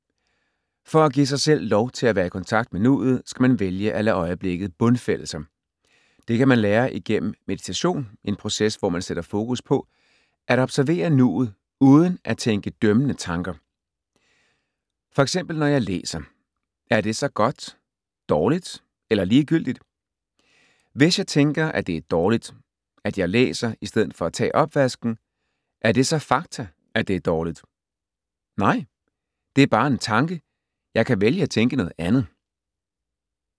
For at give sig selv lov til at være i kontakt med nuet, skal man vælge at lade øjeblikket bundfælde sig. Det kan man lære igennem meditation, en proces, hvor man sætter fokus på at observere nuet uden at tænke dømmende tanker. For eksempel når jeg læser, er det så godt, dårligt eller ligegyldigt? Hvis jeg tænker, at det er dårligt, at jeg læser i stedet for at tage opvasken, er det så fakta, at det er dårligt? Nej, det er bare en tanke, jeg kan vælge at tænke noget andet.